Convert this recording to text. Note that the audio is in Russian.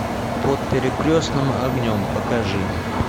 под перекрестным огнем покажи